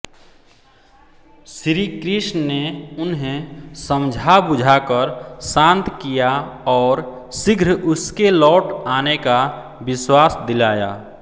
श्रीकृष्ण ने उन्हें समझाबुझाकर शान्त किया और शीघ्र उसके लौट आने का विश्वास दिलाया